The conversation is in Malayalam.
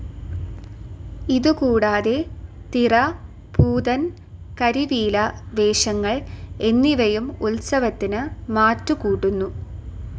ഇതുകൂടാതെ തിറ, പൂതൻ, കരിവീല വേഷങ്ങൾ എന്നിവയും ഉത്സവത്തിന് മാറ്റുകൂട്ടുന്നു.